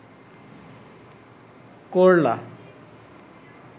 করলা